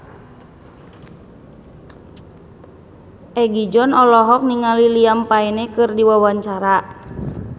Egi John olohok ningali Liam Payne keur diwawancara